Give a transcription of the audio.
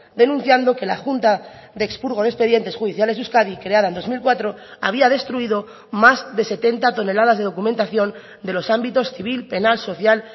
denunciando que la junta de expurgo de expedientes judiciales de euskadi creada en dos mil cuatro había destruido más de setenta toneladas de documentación de los ámbitos civil penal social